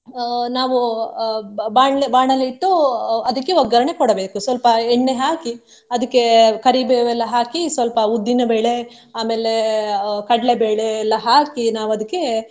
ಅಹ್ ನಾವು ಅಹ್ ನಾವು ಅಹ್ ಬಾಣ್ಲೆ ಬಾಣಲೆ ಇಟ್ಟು ಅಹ್ ಅದ್ಕೆ ಒಗ್ಗರ್ಣೆ ಕೊಡಬೇಕು ಸ್ವಲ್ಪ ಎಣ್ಣೆ ಹಾಕಿ ಅದಕ್ಕೆ ಕರಿಬೇವು ಎಲ್ಲ ಹಾಕಿ ಸ್ವಲ್ಪ ಉದ್ದಿನಬೇಳೆ ಆಮೇಲೆ ಅಹ್ ಕಡ್ಲೆಬೇಳೆ ಎಲ್ಲಾ ಹಾಕಿ ನಾವು ಅದ್ಕೆ.